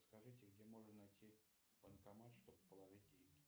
скажите где можно найти банкомат чтобы положить деньги